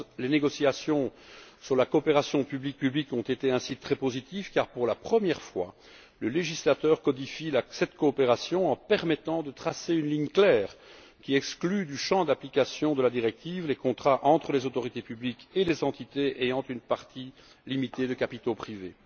11. Les négociations sur la coopération public public ont été très positives car, pour la première fois, le législateur codifie cette coopération en permettant de tracer une ligne claire qui exclut du champ d'application de la directive les contrats entre les autorités publiques et les entités ayant une partie limitée de capitaux privés.